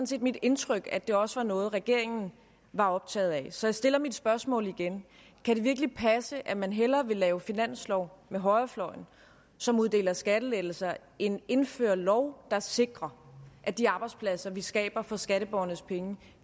set mit indtryk at det også var noget regeringen var optaget af så jeg stiller mit spørgsmål igen kan det virkelig passe at man hellere vil lave en finanslov med højrefløjen som uddeler skattelettelser end indføre en lov der sikrer at de arbejdspladser vi skaber for skatteborgernes penge